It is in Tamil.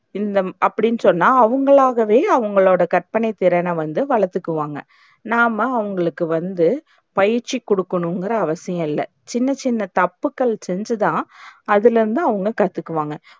இந்த அப்டின் சொன்னா அவங்களாகவே அவங்களோட கற்பனைத்திறன வந்து வளத்துக்குவாங்க. நாம்ம அவங்களுக்கு வந்து பயிற்சிகுடுக்கனும்னு அவசியம் இல்ல சின்ன சின்ன தப்புக்கள் செஞ்சுதான் அதுலருந்து அவங்க கத்துக்குவாங்க.